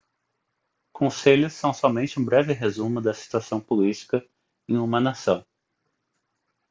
conselhos são somente um breve resumo da situação política em uma nação